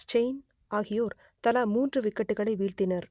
Steyn ஆகியோர் தலா மூன்று விக்கெட்டுகளை வீழ்த்தினர்